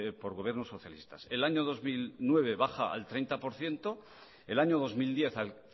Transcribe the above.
por gobiernos socialistas el año dos mil nueve baja al treinta por ciento el año dos mil diez al